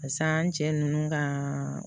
Pas'an cɛ nunnu ka